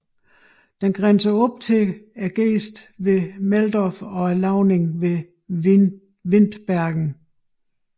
Den grænser op til gesten ved Meldorf og lavningen ved Windbergen